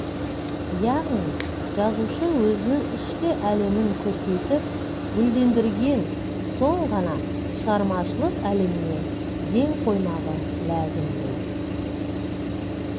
яғни жазушы өзінің ішкі әлемін көркейтіп гүлдендірген соң ғана шығармашылық әлеміне ден қоймағы ләзім бұл